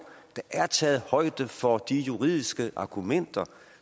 der er taget højde for de juridiske argumenter